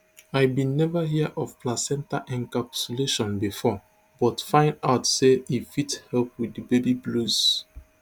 i bin neva hear of placenta encapsulation bifor but find out say e fit help wit di baby blues